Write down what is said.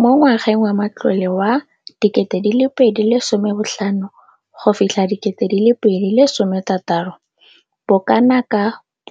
Mo ngwageng wa matlole wa 2015 go fitlha 16, bokanaka 5